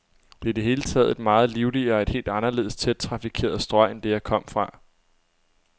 Det er i det hele taget et meget livligere, et helt anderledes tæt trafikeret strøg end det, jeg kom fra.